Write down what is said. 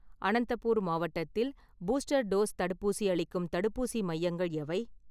அனந்தபூர் மாவட்டத்தில் booster dose தடுப்பூசி அளிக்கும் தடுப்பூசி மையங்கள் எவை?